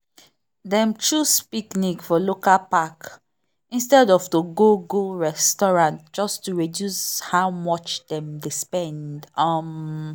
dem choose picnic for local park instead of to go go restaurant just to reduce how much dem dey spend. um